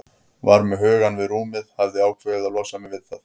Var með hugann við rúmið, hafði ákveðið að losa sig við það.